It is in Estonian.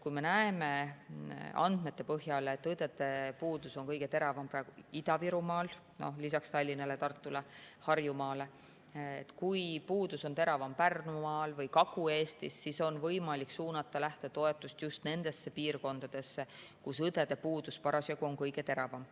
Kui me näeme andmete põhjal, et õdede puudus on lisaks Tallinnale ja Tartule ja Harjumaale kõige teravam Ida-Virumaal või Pärnumaal või Kagu-Eestis, siis on võimalik kasutada lähtetoetust just nendes piirkondades, kus õdede puudus parasjagu kõige teravam on.